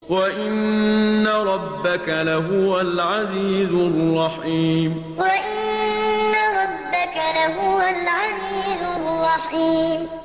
وَإِنَّ رَبَّكَ لَهُوَ الْعَزِيزُ الرَّحِيمُ وَإِنَّ رَبَّكَ لَهُوَ الْعَزِيزُ الرَّحِيمُ